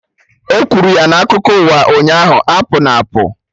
E kwuru ya na akụkọ ụwa ụnyaahụ, apụna apụ!